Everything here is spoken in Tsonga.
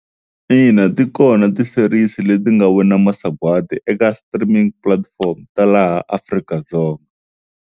Ina ti kona ti-series leti nga wina masagwadi eka streaming platform ta laha Afrika-Dzonga.